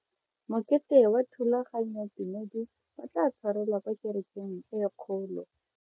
Mokete wa thulaganyotumedi o tla tshwarelwa kwa kerekeng e kgolo.